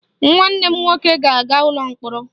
Nwanne m nwoke ga-aga ụlọ mkpọrọ